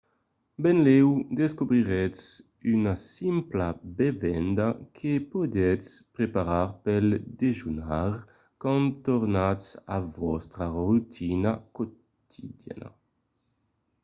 benlèu descobriretz una simpla bevenda que podètz preparar pel dejunar quand tornatz a vòstra rotina quotidiana